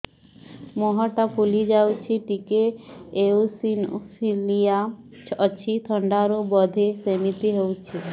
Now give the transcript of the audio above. ମୁହଁ ଟା ଫୁଲି ଯାଉଛି ଟିକେ ଏଓସିନୋଫିଲିଆ ଅଛି ଥଣ୍ଡା ରୁ ବଧେ ସିମିତି ହଉଚି